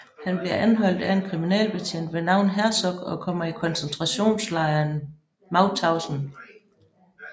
Han bliver anholdt af en kriminalbetjent ved navn Herzog og kommer i koncentrationslejren Mauthausen